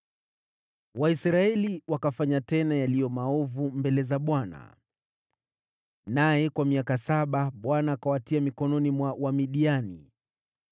Waisraeli wakafanya tena yaliyo maovu mbele za Bwana , naye kwa miaka saba Bwana akawatia mikononi mwa Wamidiani.